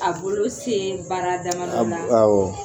A bolo se baara damadɔ ma abo awɔ